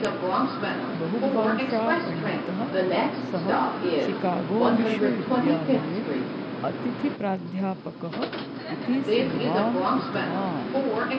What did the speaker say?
बहुभाषापण्डितः सः शिकागो विश्वविद्यालये अतिथिप्राध्यापकः इति सेवां कृतवान्